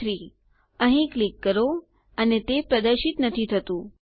123 અહીં ક્લિક કરો અને તે પ્રદર્શિત નથી થતું